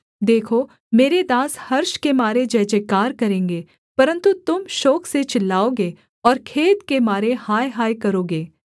देखो मेरे दास हर्ष के मारे जयजयकार करेंगे परन्तु तुम शोक से चिल्लाओगे और खेद के मारे हाय हाय करोगे